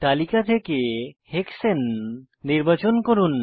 তালিকা থেকে হেক্সানে নির্বাচন করুন